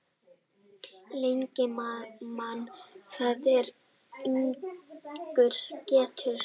Lengi man það er ungur getur.